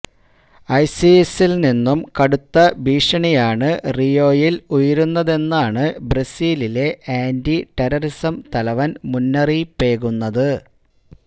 ഐസിസിൽ നിന്നും കടുത്ത ഭീഷണിയാണ് റിയോയിൽ ഉയരുന്നതെന്നാണ് ബ്രസീലിലെ ആന്റി ടെററിസം തലവൻ മുന്നറിയിപ്പേകുന്നത്